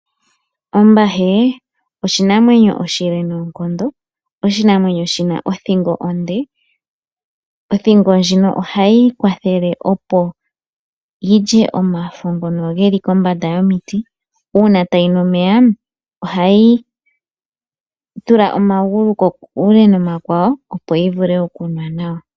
Ombahe oyo oshinamwenyo oshile noonkondo oshinamwenyo shi na othingo onde. Othingo ndjino ohayi yi kwathele opo yi lye omafo ngono ge li kombanda yomiti. Uuna tayi nu omeya ohayi tula omagulu kokule nomakwawo opo yi vule okunwa nawa.